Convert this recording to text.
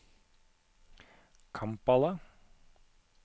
Kampala